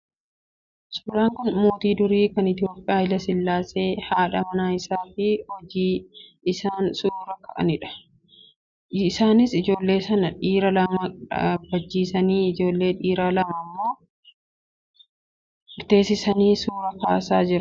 Suuraan kun mootii durii kan Itoophiyaa Haayilasillaasee, haadha manaa isaa fi ijoollee isaanii waliin bakka tokkotti yeroo isaan suuraa ka'anidha. Isaanis ijoollee isaanii dhiiraa lama dhaabbachiisanii, ijoollee dhiiraa lama immoo teessisanii suuraa kaasan.